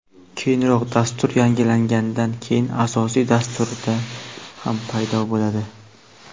Keyinroq dastur yangilangandan keyin asosiy dasturda ham paydo bo‘ladi.